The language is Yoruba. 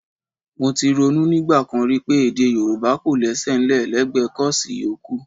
Mo ti ronú nígbà kan rí pé Èdè Yorùbá kọ̀ lésẹ̀ ńlẹ̀ lẹ́gbẹ kọ́ọ̀sì yòókù